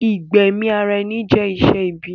Ìgbẹ̀mi ara ẹni jẹ́ iṣẹ́ ibi